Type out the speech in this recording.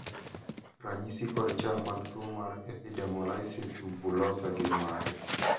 ranyisi kod chal mag tuo mar Epidermolysis bullosa gin mage?